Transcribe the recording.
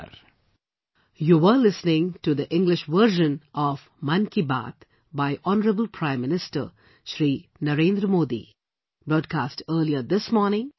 Namaskar